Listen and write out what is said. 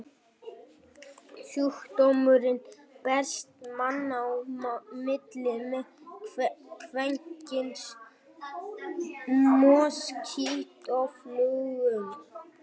Sjúkdómurinn berst manna á milli með kvenkyns moskítóflugum.